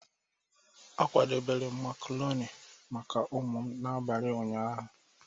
A kwadebere m macaroni maka ụmụ m n'abalị ụnyaahụ.